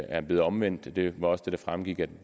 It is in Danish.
er blevet omvendt og det var også det der fremgik af